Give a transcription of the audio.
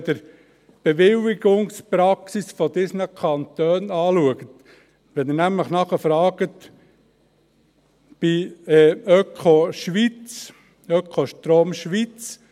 Wenn man die Bewilligungspraxis der anderen Kantone anschaut ... Wenn man nämlich nachfragt bei Ökostrom Schweiz: